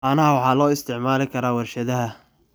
Caanaha waxaa loo isticmaali karaa warshadaha.